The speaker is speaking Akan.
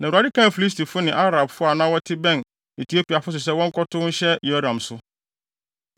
Na Awurade kaa Filistifo ne Arabfo a na wɔte bɛn Etiopiafo so sɛ wɔnkɔtow nhyɛ Yehoram so.